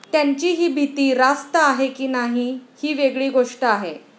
त्यांची ही भीती रास्त आहे की नाही ही वेगळी गोष्ट आहे.